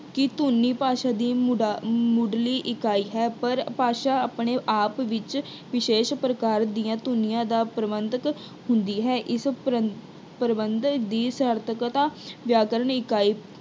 ਕਿ ਧੁਨੀ ਭਾਸ਼ਾ ਦੀ ਮੁੱਢਲੀ ਇਕਾਈ ਹੈ, ਪਰ ਭਾਸ਼ਾ ਆਪਣੇ ਆਪ ਵਿੱਚ ਵਿਸ਼ੇਸ਼ ਪ੍ਰਕਾਰ ਦੀਆਂ ਧੁਨੀਆਂ ਦਾ ਪ੍ਰਬੰਧਕ ਹੁੰਦੀ ਹੈ। ਇਸ ਪ੍ਰੰਬ ਅਹ ਇਸ ਪ੍ਰੰਬਧਕ ਦੀ ਸਾਰਥਿਕਤਾ ਵਿਆਕਰਨ ਇਕਾਈ